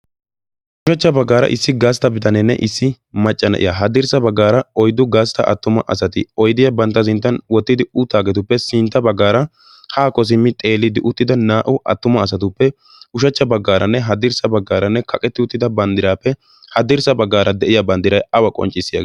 ushachcha baggaara issi gaastta bitaneenne issi macca na'iya haddirssa baggaara oiddu gaastta attuma asati oidiyaa bantta zinttan wottidi uttaageetuppe sintta baggaara haa ko simmi xeeliiddi uttida naa"u attuma asatuppe ushachcha baggaaranne haddirssa baggaaranne kaqetti uttida banddiraappe haddirssa baggaara de'iya banddiray awa qonccissiyaagee?